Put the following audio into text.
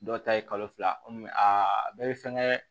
Dɔw ta ye kalo fila kɔmi a bɛɛ bɛ fɛngɛ